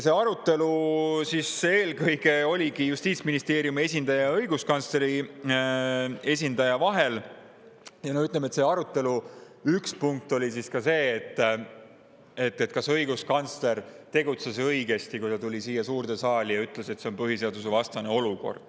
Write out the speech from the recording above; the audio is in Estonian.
See arutelu oligi eelkõige Justiitsministeeriumi esindaja ja õiguskantsleri esindaja vahel ja selle arutelu üks punkt oli ka see, kas õiguskantsler tegutses õigesti, kui ta tuli siia suurde saali ja ütles, et see on põhiseadusevastane olukord.